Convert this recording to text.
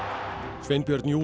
Sveinbjörn